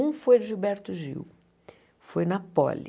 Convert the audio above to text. Um foi de Gilberto Gil, foi na Poli.